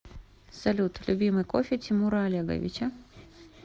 салют любимый кофе тимура олеговича